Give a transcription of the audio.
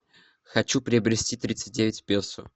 хочу приобрести тридцать девять песо